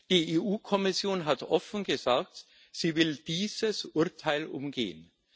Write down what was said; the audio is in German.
Die EU Kommission hat offen gesagt, sie will dieses Urteil umgehen.